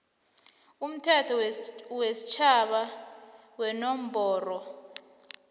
umthetho wesitjhaba wenomboro